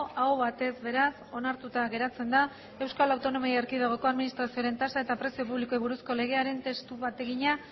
aho batez beraz onartuta geratzen da euskal autonomia erkidegoko administrazioaren tasa eta prezio publikoei buruzko legearen testu bategina